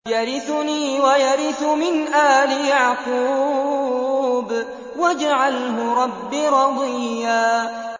يَرِثُنِي وَيَرِثُ مِنْ آلِ يَعْقُوبَ ۖ وَاجْعَلْهُ رَبِّ رَضِيًّا